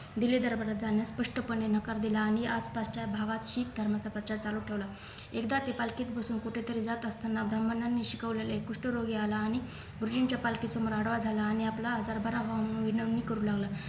दिल्ली दरबारात जाणे स्पष्टपणे नकार दिला आणि आसपासच्या गावात शीख धर्माचा प्रचार चालू ठेवला एकदा ते पालखीत बसून कुठेतरी जात असताना ब्राह्मणांनी शिकवलेले कुष्ठरोगी आला आणि गुरुजींच्या पालखी समोर आडवा झाला आणि आपला आजार बरा होऊन विनवणी करू लागला